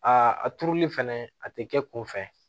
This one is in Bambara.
A a turuli fɛnɛ a tɛ kɛ kunfɛ